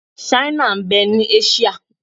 Ṣáínà ń bẹ ní Áṣíà.